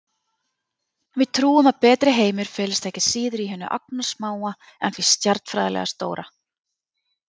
Við trúum að betri heimur felist ekki síður í hinu agnarsmáa en því stjarnfræðilega stóra.